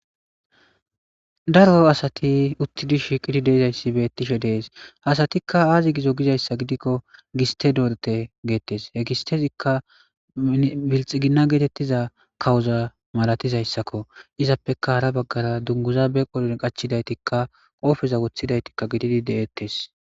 daro asati uttidi shiiqidi deizayssi bettishe dees hasatikka aazi gizo gizayssa gidikko giste doorete geettes hegistezikka bilxiginna geetettiza kawoza malatizayssakko izappeka hara baggara dunguza be qolon qachidaytikka qoofeza wothidaytikka gididi deettes